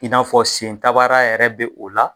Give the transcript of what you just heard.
In'a fɔ sen tabaara yɛrɛ be o la